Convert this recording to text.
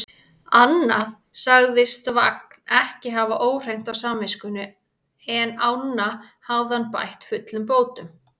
Annað sagðist Vagn ekki hafa óhreint á samviskunni, en ána hafði hann bætt fullum bótum.